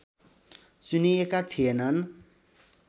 चुनिएका थिएनन्